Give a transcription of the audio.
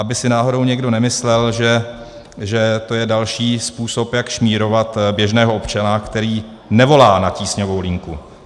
Aby si náhodou někdo nemyslel, že to je další způsob, jak šmírovat běžného občana, který nevolá na tísňovou linku.